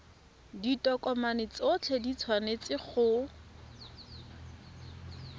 ditokomane tsotlhe di tshwanetse go